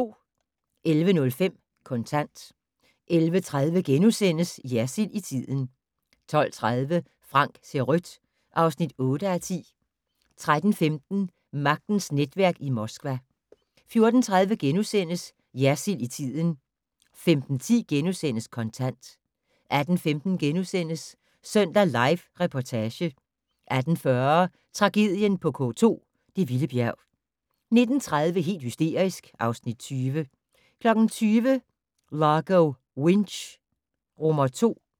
11:05: Kontant 11:30: Jersild i tiden * 12:30: Frank ser rødt (8:10) 13:15: Magtens netværk i Moskva 14:30: Jersild i tiden * 15:10: Kontant * 18:15: Søndag Live Reportage * 18:40: Tragedien på K2 - det vilde bjerg 19:30: Helt hysterisk (Afs. 20) 20:00: Largo Winch II